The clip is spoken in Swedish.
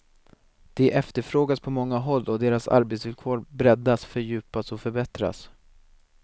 De efterfrågas på många håll och deras arbetsvillkor breddas, fördjupas och förbättras.